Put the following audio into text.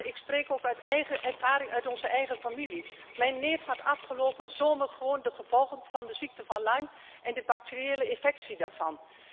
Ik spreek ook uit eigen ervaring uit onze eigen familie mijn neef had afgelopen zomer gewoon de gevolgen van de ziekte van Lyme en de bacteriële infectie daarvan.